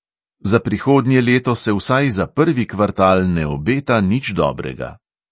Za prihodnje leto se vsaj za prvi kvartal ne obeta nič dobrega.